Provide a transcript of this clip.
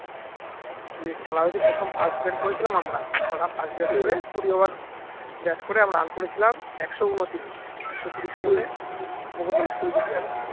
দিয়ে খেলা হয়েছে প্রথম first bat করেছিলাম আমরা first bat হয়ে কুড়ি over bat করে আমরা run করেছিলাম একশো ঊনত্রিশ একশো ত্রিশ করে বকুলতলা স্কুল জিতে যাবে